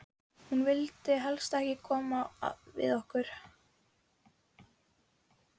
Hún vildi helst ekki koma við okkur.